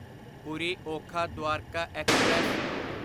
Puri Okha Dwarka express